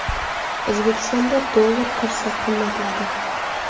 O‘zbekistonda dollar kursi qimmatladi.